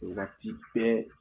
i ka ci bɛɛ